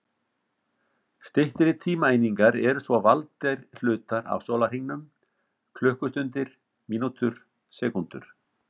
Styttri tímaeiningar eru svo valdir hlutar af sólarhringum: klukkustundir, mínútur, sekúndur.